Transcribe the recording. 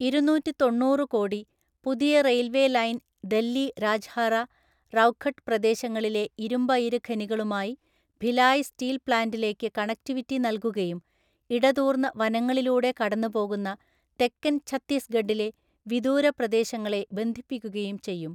ഇരുനൂറ്റിതൊണ്ണൂറു കോടി, പുതിയ railway line Dalli Rajhara, Rowghat പ്രദേശങ്ങളിലെ ഇരുമ്പയിര് ഖനികളുമായി ഭിലായ് സ്റ്റീൽ പ്ലാന്റിലേക്ക് കണക്റ്റിവിറ്റി നൽകുകയും ഇടതൂർന്ന വനങ്ങളിലൂടെ കടന്നുപോകുന്ന തെക്കൻ ഛത്തീസ്ഗഡിലെ വിദൂര പ്രദേശങ്ങളെ ബന്ധിപ്പിക്കുകയും ചെയ്യും.